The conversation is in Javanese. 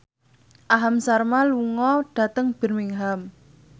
Aham Sharma lunga dhateng Birmingham